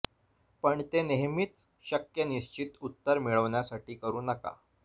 पण ते नेहमीच शक्य निश्चित उत्तर मिळविण्यासाठी करू नका